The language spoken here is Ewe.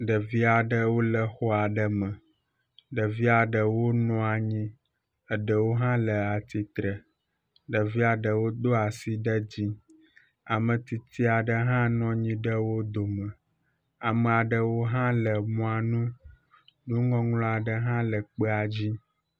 Ɖevi aɖewo le xɔ aɖe me. Ɖevia ɖewo nɔ anyi. Ɖewo hã le atsitre. Ɖevia ɖewo do asi ɖe dzi. Ame tsitsi aɖe hã nɔ anyi ɖe wo dome. Ame aɖewo hã le mɔa nu. Nuŋɔŋlɔ aɖe hã le kpea dzi.